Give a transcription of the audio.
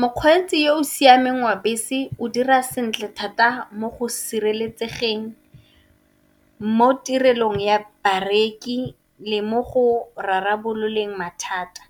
Mokgweetsi yo o siameng wa bese o dira sentle thata mo go sireletsegeng mo tirelong ya bareki le mo go rarabololeng mathata.